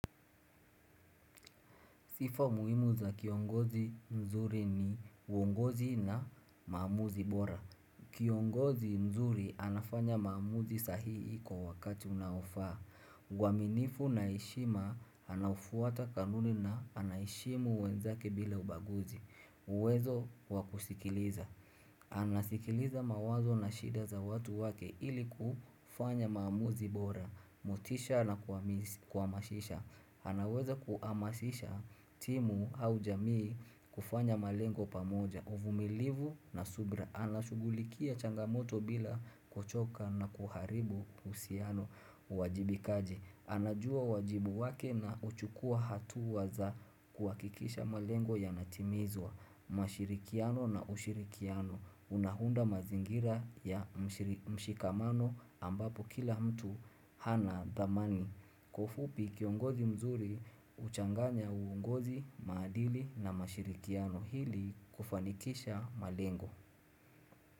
Sifa muhimu za kiongozi mzuri ni uongozi na maamuzi bora. Kiongozi mzuri anafanya maamuzi sahihi kwa wakati unaofaa. Uaminifu na heshima anaufuata kanuni na na anaheshimu wenzake bila ubaguzi. Uwezo wa kusikiliza. Anasikiliza mawazo na shida za watu wake ili kufanya maamuzi bora. Motisha na kuhamasisha. Anaweza kuhamasisha timu au jamii kufanya malengo pamoja na uvumilivu na subira Anashugulikia changamoto bila kuchoka na kuharibu uhusiano uwajibikaji anajua wajibu wake na huchukua hatua za kuhakikisha malengo yanatimizwa Mashirikiano na ushirikiano Unaunda mazingira ya mshikamano ambapo kila mtu ana dhamani Kwa ufupi kiongozi mzuri, huchanganya uongozi, maadili na mashirikiano ili kufanikisha malengo.